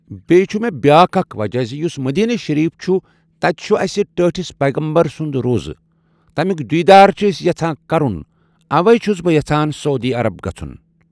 بیٚیہِ چھُ مےٚ بیٛاکھ اَکھ وَجہ زِ یُس مدیٖنہ شریٖف چھُ تتہِ چھُ اسہِ ٹٲٹھس پیغمبر سُنٛد روزہ ۔ تَمیُٚک دیٖدار چھ أسۍ یژھان کرُن اوے چھُس بہٕ یَژھان سعوٗدی عرب گژھُن